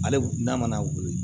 Ale n'a mana wolo